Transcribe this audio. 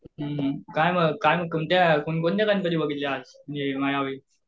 हुं हुं काय मग काय कोणते गणपती बघितले आज